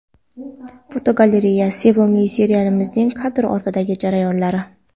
Fotogalereya: Sevimli seriallarimizning kadr ortidagi jarayonlari.